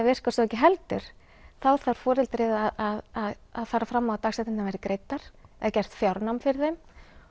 virkar svo ekki heldur þá þarf foreldrið að fara fram á að dagsektirnar verði greiddar eða gert fjárnám fyrir þeim